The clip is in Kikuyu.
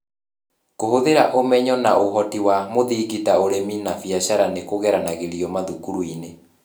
Kũhũthĩra ũmenyo na ũhoti wa mũthingi ta ũrĩmi na biacara nĩ kũgeragĩrio mathukuru-inĩ.